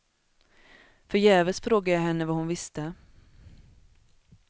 Förgäves frågade jag henne vad hon visste.